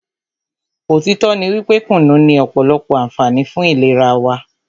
òtítọ́ ní wípé kùnú ní ọ̀pọ̀lọpọ̀ ànfààní fún ìlera wa.